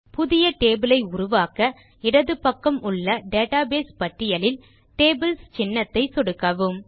புதிய டேபிள் ஐ உருவாக்க இடது பக்கம் உள்ள டேட்டாபேஸ் பட்டியலில் டேபிள்ஸ் சின்னத்தை சொடுக்கவும்